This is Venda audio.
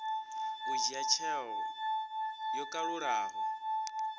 u dzhia tsheo yo kalulaho